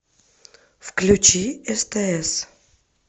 включи стс